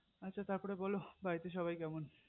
আচ্ছা তার পর বোলো বাড়িতে সবাই কেমন